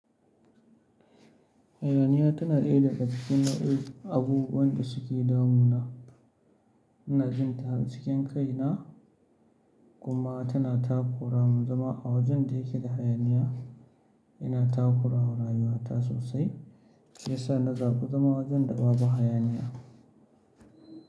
Hayaniya tana ɗaya daga cikin na abubuwan da suke damuwa ina jin ta cikin kai na, kuma tana takura mun, zama a wajen da yake da hayaniya yana takura rayuwata sosai, shi yasa na zaɓi zama wajen da babu hayaniya.